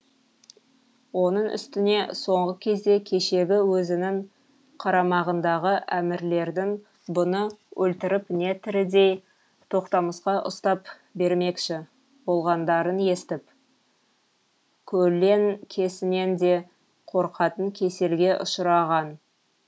оның үстіне соңғы кезде кешегі өзінің қарамағындағы әмірлердің бұны өлтіріп не тірідей тоқтамысқа ұстап бермекші болғандарын естіп көлеңкесінен де қорқатын кеселге ұшыраған